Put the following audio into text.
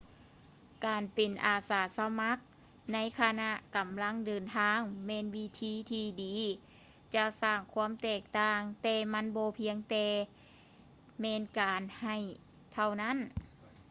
ການເປັນອາສາສະໝັກໃນຂະນະກຳລັງເດີນທາງ ແມ່ນວິທີທີ່ດີທີ່ຈະສ້າງຄວາມແຕກຕ່າງ ແຕ່ມັນບໍ່ພຽງແຕ່ແມ່ນການໃຫ້ເທົ່ານັ້ນ